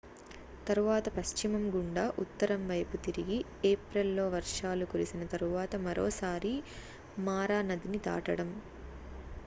తరువాత పశ్చిమం గుండా ఉత్తరం వైపు తిరిగి ఏప్రిల్ లో వర్షాలు కురిసిన తరువాత మరోసారి మారా నదిని దాటడం